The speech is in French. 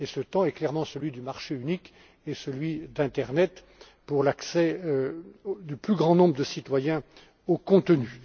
Et ce temps est clairement celui du marché unique et celui de l'internet, pour l'accès du plus grand nombre de citoyens au contenu.